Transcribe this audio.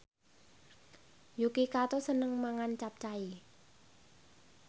Yuki Kato seneng mangan capcay